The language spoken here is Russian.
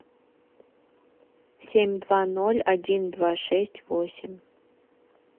семь два ноль один два шесть восемь